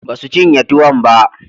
Ba su cinye tuwon ba.